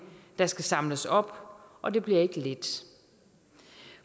der skal samles op og det bliver ikke let